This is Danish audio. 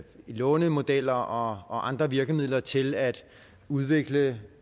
lånemodeller og andre virkemidler til at udvikle